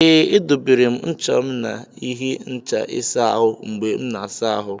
Ee, edobere m ncha m n'ihe ịhe ncha ịsa ahụ mgbe m na-asa ahụ.